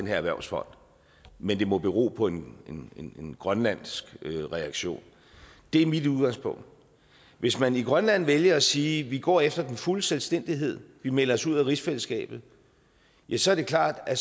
her erhvervsfond men det må bero på en en grønlandsk reaktion det er mit udgangspunkt hvis man i grønland vælger at sige vi går efter den fulde selvstændighed vi melder os ud af rigsfællesskabet ja så er det klart at